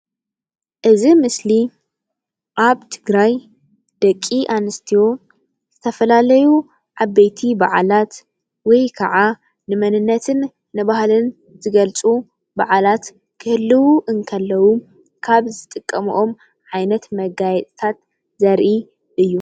እዚ ምስሊ አብ ትግራይ ደቂ አንስትዮ ዝተፈላለዩ ዓበይቲ በዓላት ወይከዓ ንመንነትን ባህልን ዝገልፁ በዓላት ክህልዉ እንከለዉ ካብ ዝጥቀመኦም ዓይነት መጋየፅታት ዘርኢ እዩ።